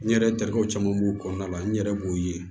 N yɛrɛ terikɛw caman b'o kɔnɔna la n yɛrɛ b'o ye